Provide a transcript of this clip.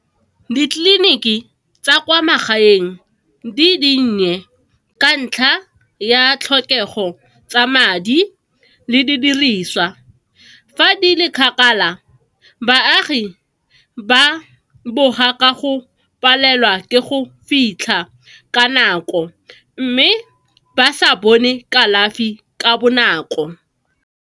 Ditleliniki tsa kwa magaeng di dinnye ka ntlha ya tlhokego tsa madi le didiriswa. Fa di le kgakala, baagi ba boga ka go palelwa ke go fitlha ka nako mme ba sa bone kalafi ka bonako.